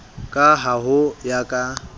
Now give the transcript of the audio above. ka ha ho ya ka